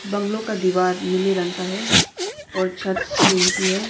Bungalow का दीवार नीले रंग का है और छत टीन की है।